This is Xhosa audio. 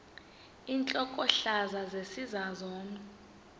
intlokohlaza sesisaz omny